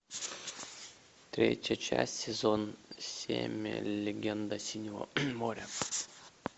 третья часть сезон семь легенда синего моря